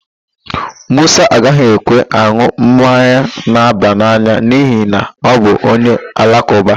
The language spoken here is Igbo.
Musa agaghị ekwe an̄ụ mmanya na-aba n'anya n'ihi na ọ bụ onye Alakụba.